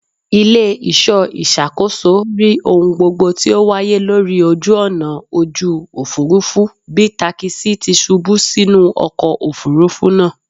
Ile-iṣọ iṣakoso ri ohun gbogbo ti o waye lori oju-ọna oju-ofurufu bi takisi ti ṣubu sinu ọkọ ofurufu naa